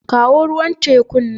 Kawo ruwan tekun nan.